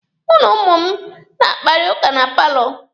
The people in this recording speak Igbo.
Mụ na ụmụ m na-akparịta ụka na paalọ.